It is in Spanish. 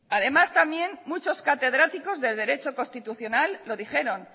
además también muchos catedráticos de derecho constitucional lo dijeron